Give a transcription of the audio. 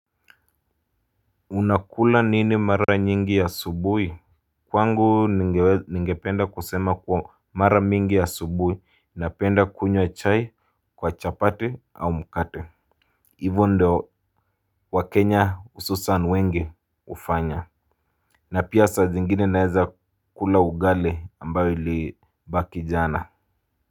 Unakula nini mara nyingi asubuhi. Kwangu ningependa kusema kuwa mara mingi asubuhi napenda kunywa chai kwa chapati au mkate. Hivo ndio wa kenya hususani wengi hufanya. Na pia saa zingine naweza kula ugali ambao ilibaki jana.